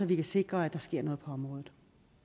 vi kan sikre at der sker noget på området